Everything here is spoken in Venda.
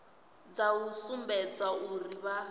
dza u sumbedza uri vha